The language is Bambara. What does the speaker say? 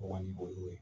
Kɔni o y'o ye